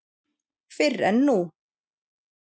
Fyrr en nú.